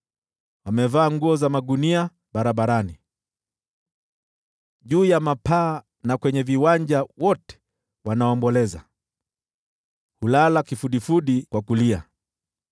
Wamevaa nguo za magunia barabarani, juu ya mapaa na kwenye viwanja wote wanaomboleza, wamelala kifudifudi kwa kulia.